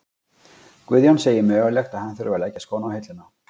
Guðjón segir mögulegt að hann þurfi að leggja skóna á hilluna.